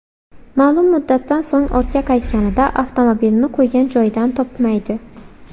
Ma’lum muddatdan so‘ng ortga qaytganida avtomobilni qo‘ygan joyidan topmaydi.